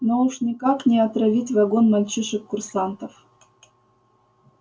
но уж никак не отравить вагон мальчишек-курсантов